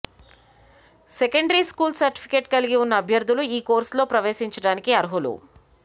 సెండరీ school సర్టిఫికెట్కలిగి ఉన్న అభ్య ర్థులు ఈ కోర్సుల్లో ప్రవేశించడానికి అర్హులు